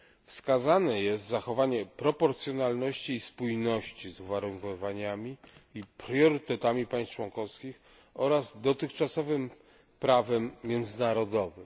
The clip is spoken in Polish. Wskazane jest zachowanie proporcjonalności i spójności z uwarunkowaniami i priorytetami państw członkowskich oraz dotychczasowym prawem międzynarodowym.